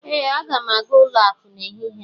ee, Aga m aga ụlọ akụ n'ehihie a